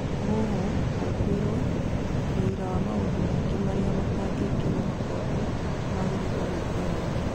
Mũhuhu, gwĩkũirwo, wũira na maũndũ mangĩ marĩa matangĩkĩrwo mũkonde magĩrĩirwo gwĩthemwo.